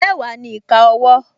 Mẹ́wàá ni ìka owó